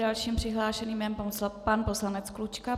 Dalším přihlášeným je pan poslanec Klučka.